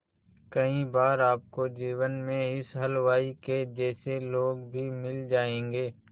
कई बार आपको जीवन में इस हलवाई के जैसे लोग भी मिल जाएंगे